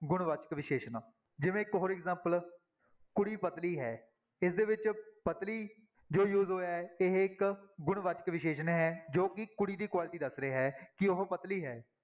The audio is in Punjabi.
ਗੁਣਵਾਚਕ ਵਿਸ਼ੇਸ਼ਣ ਜਿਵੇਂ for example ਕੁੜੀ ਪਤਲੀ ਹੈ, ਇਸਦੇ ਵਿੱਚ ਪਤਲੀ ਜੋ use ਹੋਇਆ ਹੈ ਇਹ ਇੱਕ ਗੁਣਵਾਚਕ ਵਿਸ਼ੇਸ਼ਣ ਹੈ ਜੋ ਕਿ ਕੁੜੀ ਦੀ quality ਦੱਸ ਰਿਹਾ ਹੈ ਕਿ ਉਹ ਪਤਲੀ ਹੈ।